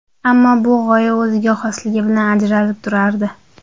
Ammo bu g‘oya o‘ziga xosligi bilan ajralib turardi.